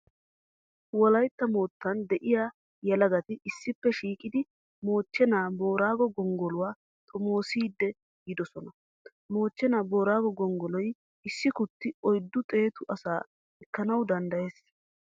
Wolaytta moottan de'iya yelagati issippe shiiqidi m Mochchenaa Booraago gonggoluwaa xomoosidi yiidosona. Mochchenaa Booraago gonggolloy issi kutti oyddu xeetu asaa ekkana danddayees.